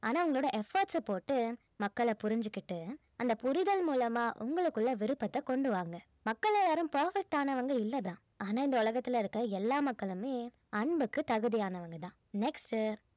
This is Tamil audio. ஆனா உங்களோட efforts அ போட்டு மக்களை புரிஞ்சுகிட்டு அந்த புரிதல் மூலமா உங்களுக்குள்ள விருப்பத்தை கொணடு வாங்க மக்கள்ல யாரும் perfect ஆனவங்க இல்ல தான் ஆனா இந்த உலகத்துல இருக்க எல்லா மக்களுமே அன்புக்கு தகுதியானவங்க தான் next